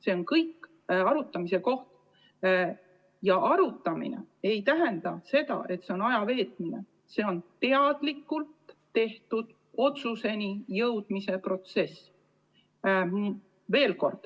See on kõik arutamise koht, kusjuures arutamine ei tähenda ajaviitmist, vaid see on teadlikult tehtud otsuseni jõudmise protsess.